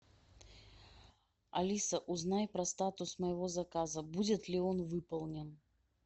алиса узнай про статус моего заказа будет ли он выполнен